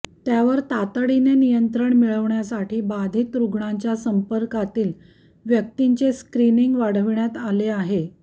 त्यावर तातडीने नियंत्रण मिळविण्यासाठी बाधित रुग्णांच्या संपर्कातील व्यक्तींचे स्क्रिनींग वाढविण्यात आले आहे